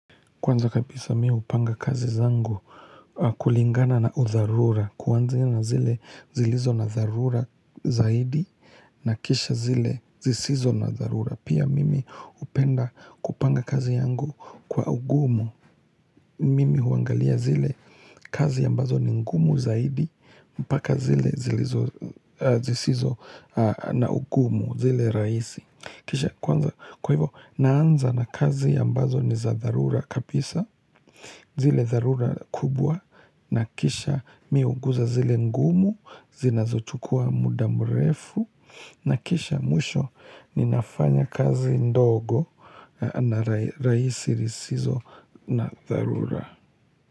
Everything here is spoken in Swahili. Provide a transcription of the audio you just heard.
Kwanza kabisa mimi hupanga kazi zangu kulingana na udharura, kwanzia na zile zilizo na dharura zaidi, na kisha zile zisizo na udharura. Pia mimi hupenda kupanga kazi yangu kwa ugumu. Mimi huangalia zile kazi ambazo ni ngumu zaidi, mpaka zile zisizo na ugumu, zile rahisi. Kwa hivyo, naanza na kazi ambazo ni za dharura kabisa. Zile dharura kubwa na kisha mi huguza zile ngumu zinazochukua muda mrefu na kisha mwisho ninafanya kazi ndogo na rahisi zisizo na dharura.